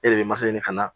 E de bɛ masa ɲini ka na